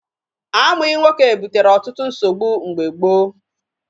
Amụghị nwoke butere ọtụtụ nsogbu mgbe gboo.